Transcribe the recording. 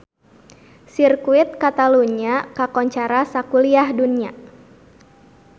Sirkuit Catalunya kakoncara sakuliah dunya